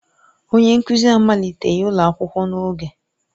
Onye nkuzi amaliteghi ụlọ akwụkwọ n'oge.